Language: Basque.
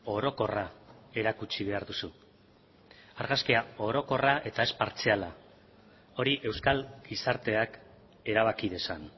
orokorra erakutsi behar duzu argazkia orokorra eta ez partziala hori euskal gizarteak erabaki dezan